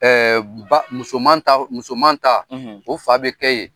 Ba musoman ta musoman ta; O fa bɛ kɛ yen.